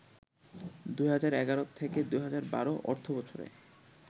২০১১-২০১২ অর্থবছরে